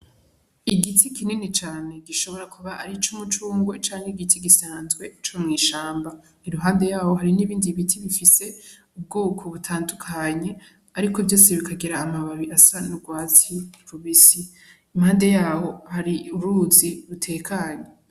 Igiti kinini cane gishobora kuba ari ic'umucungwe canke igiti gisanzwe co mw'ishamba, iruhande yaho hari n'ibindi biti bifise ubwoko butandukanye ariko vyose bikagira amababi asa n'ugwatsi rubisi, impande yaho hari uruzi rutekanye.